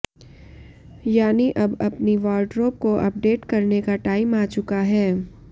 यानी अब अपनी वॉरड्रोब को अपडेट करने का टाइम आ चुका है